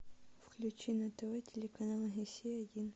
включи на тв телеканал россия один